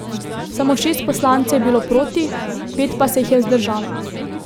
Samo šest poslancev je bilo proti, pet pa se jih je vzdržalo.